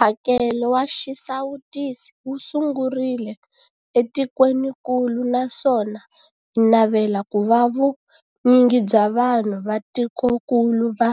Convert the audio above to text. Mphakelo wa xisawutisi wu sungurile etikwenikulu naswona hi navela ku va vu nyingi bya vanhu va tikokulu va